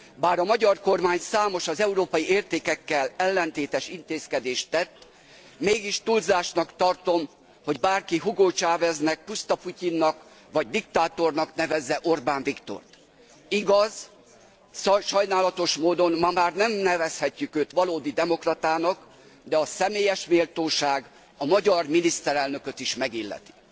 Bár a magyar kormány számos, az európai értékekkel ellentétes intézkedést tett, mégis túlzásnak tartom, hogy bárki Hugo Chaveznek, pusztaputyinnak vagy diktátornak nevezze Orbán Viktort, igaz, sajnálatos módon ma már nem nevezhetjük őt valódi demokratának, de a személyes méltóság a magyar miniszterelnököt is megilleti.